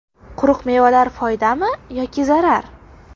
Quruq mevalar foydami yoki zarar?.